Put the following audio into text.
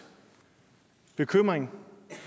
bekymring